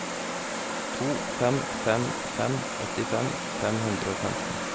to fem fem fem åttifem fem hundre og femten